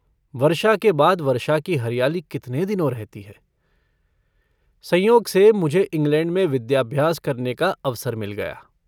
वर्षा के बाद वर्षा की हरियाली कितने दिनों रहती है। संयोग से मुझे इंग्लैंड में विद्याभ्यास करने का अवसर मिल गया।